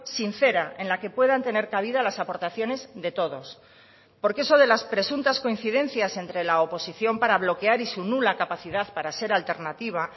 sincera en la que puedan tener cabida las aportaciones de todos porque eso de las presuntas coincidencias entre la oposición para bloquear y su nula capacidad para ser alternativa